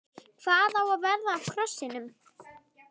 Hvað á að verða af krossinum?